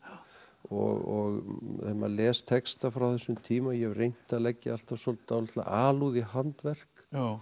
og ef maður les texta frá þessum tíma ég hef reynt að leggja alltaf dálitla alúð í handverk